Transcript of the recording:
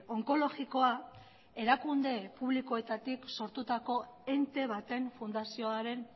onkologikoa erakunde publikoetatik sortutako ente baten fundazioaren